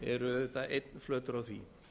eru auðvitað einn flötur á því